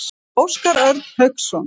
Óskar Örn Hauksson.